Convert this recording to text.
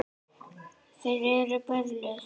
Þeir eru perlur.